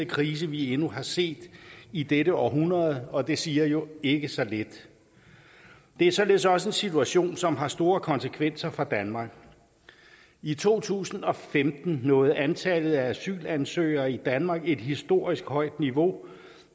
krise vi endnu har set i dette århundrede og det siger jo ikke så lidt det er således også en situation som har store konsekvenser for danmark i to tusind og femten nåede antallet af asylansøgere i danmark et historisk højt niveau